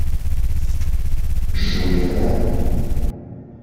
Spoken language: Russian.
шулера